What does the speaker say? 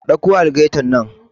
Ka ɗauko algaita nan